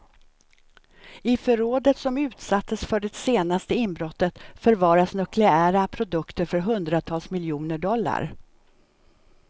I förrådet som utsattes för det senaste inbrottet förvaras nukleära produkter för hundratals miljoner dollar.